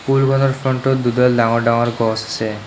School wall ৰ front ত দুডাল ডাঙৰ ডাঙৰ গছ আছে।